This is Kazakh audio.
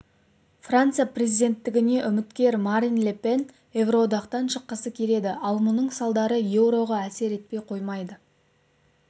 франция президенттігіне үміткер марин ле пен еуроодақтан шыққысы келеді ал мұның салдары еуроға әсер етпей қоймайды